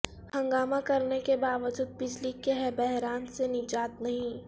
ہنگامہ کرنے کے باوجود بجلی کے بحران سے نجات نہیں